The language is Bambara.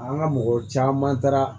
An ka mɔgɔ caman taara